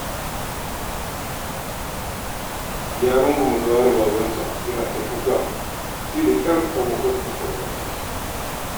Ya rungume gawar babansa, yana ta kuka, sai da ƙyar abokansa suka rarrashe shi.